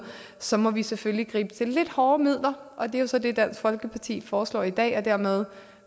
så må vi selvfølgelig gribe til lidt hårdere midler og det er så det dansk folkeparti foreslår i dag dermed